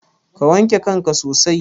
Ka wanke kanka sosai.